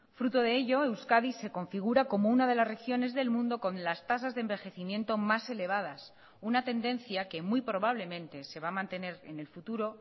fruto de ello euskadi se configura como una de las regiones del mundo con las tasas de envejecimiento más elevadas una tendencia que muy probablemente se va a mantener en el futuro